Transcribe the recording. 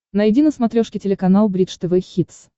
найди на смотрешке телеканал бридж тв хитс